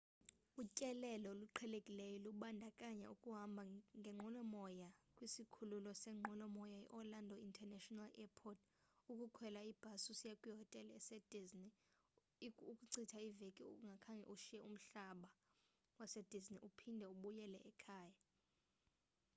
utyelelo oluqhelekileyo lubandakanya ukuhamba ngenqwelomoya kwisikhululo seenqwelomoya iorlando international airport ukukhwela ibhasi usiya kwihotele esedisney ukuchitha iveki ungakhange ushiye umhlaba wasedisney uphinde ubuyele ekhaya